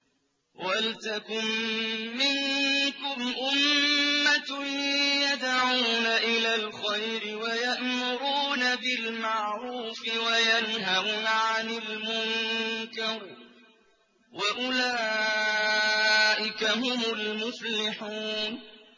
وَلْتَكُن مِّنكُمْ أُمَّةٌ يَدْعُونَ إِلَى الْخَيْرِ وَيَأْمُرُونَ بِالْمَعْرُوفِ وَيَنْهَوْنَ عَنِ الْمُنكَرِ ۚ وَأُولَٰئِكَ هُمُ الْمُفْلِحُونَ